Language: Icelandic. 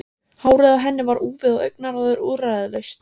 Hárið á henni var úfið og augnaráðið úrræðalaust.